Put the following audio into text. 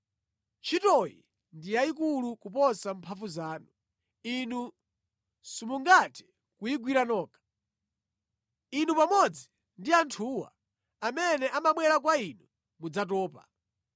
Ntchitoyi ndi yayikulu kuposa mphamvu zanu. Inu simungathe kuyigwira nokha. Inu pamodzi ndi anthuwa amene amabwera kwa inu mudzatopa.